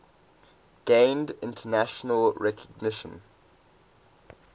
gained international recognition